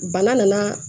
Bana nana